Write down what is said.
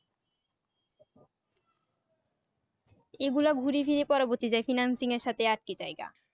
এ গুলা ঘুরি ফিরি পরবর্তী যাই financing এর সাথে একই জায়গা